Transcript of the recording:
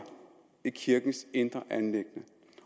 i kirkens indre anliggender